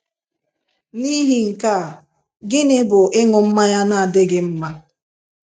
Nihi nke a, gịnị bụ ịṅụ mmanya na-adịghị mma?